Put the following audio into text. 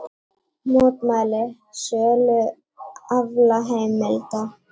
Mótmæla sölu aflaheimilda